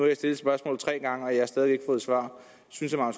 jeg stillet spørgsmålet tre gange og jeg har stadig væk ikke fået svar synes herre